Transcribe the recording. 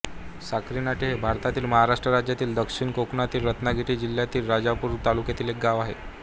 साखरी नाटे हे भारतातील महाराष्ट्र राज्यातील दक्षिण कोकणातील रत्नागिरी जिल्ह्यातील राजापूर तालुक्यातील एक गाव आहे